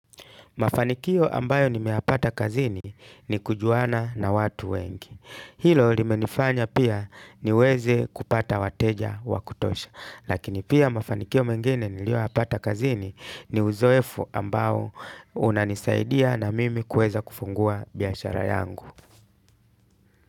Mafanikio ambayo nimeyapata kazini ni kujuana na watu wengi. Hilo limenifanya pia niweze kupata wateja wa kutosha. Lakini pia mafanikio mengine niliyoyapata kazini ni uzoefu ambao unanisaidia na mimi kuweza kufungua biashara yangu.